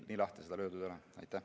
Nii lahti seda löödud ei ole.